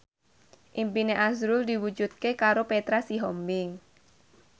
impine azrul diwujudke karo Petra Sihombing